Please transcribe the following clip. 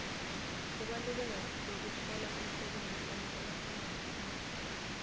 kubaluleka kwekutfola umsebenti uma ungumfundzi